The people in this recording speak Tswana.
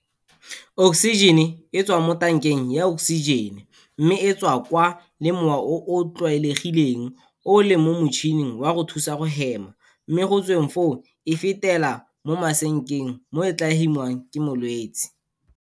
Oksijene e tswa mo tankeng ya oksijene mme e tswakwa le mowa o o tlwaelegileng o o leng mo motšhining wa go thusa go hema mme go tsweng foo e fetela mo masekeng moo e tla hemiwang ke molwetse.